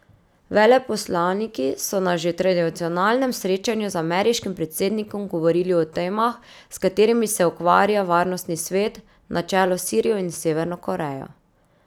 Veleposlaniki so na že tradicionalnem srečanju z ameriškim predsednikom govorili o temah, s katerimi se ukvarja Varnostni svet, na čelu s Sirijo in Severno Korejo.